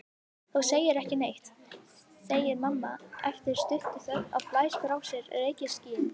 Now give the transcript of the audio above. Þú segir ekki neitt, segir mamma eftir stutta þögn og blæs frá sér reykskýi.